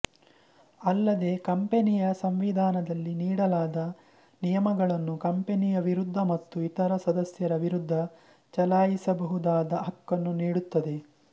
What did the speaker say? ಅಲ್ಲದೇ ಕಂಪನಿಯ ಸಂವಿಧಾನದಲ್ಲಿ ನೀಡಲಾದ ನಿಯಮಗಳನ್ನು ಕಂಪನಿಯ ವಿರುದ್ಧ ಮತ್ತು ಇತರ ಸದಸ್ಯರ ವಿರುದ್ಧ ಚಲಾಯಿಸಬಹುದಾದ ಹಕ್ಕನ್ನು ನೀಡುತ್ತದೆ